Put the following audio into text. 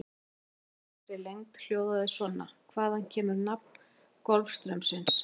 Spurningin í fullri lengd hljóðaði svona: Hvaðan kemur nafn Golfstraumsins?